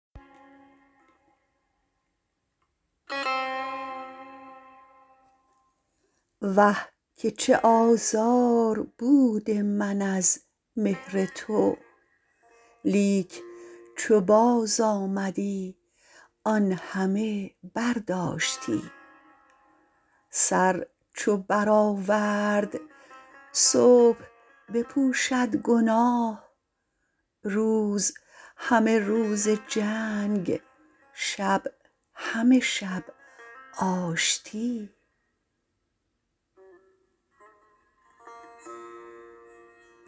وه که چه آزار بود من از مهر تو لیک چو باز آمدی آن همه برداشتی سر چو برآورد صبح بپوشد گناه روز همه روز جنگ شب همه شب آشتی